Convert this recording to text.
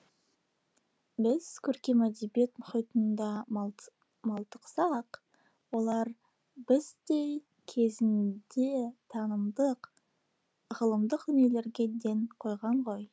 біз көркем әдебиет мұхитында малтықсақ олар біздей кезінде танымдық ғылымдық дүниелерге ден қойған ғой